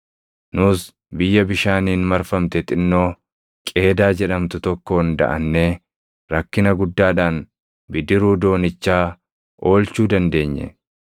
Nus biyya bishaaniin marfamte xinnoo Qeedaa jedhamtu tokkoon daʼannee rakkina guddaadhaan bidiruu doonichaa oolchuu dandeenye.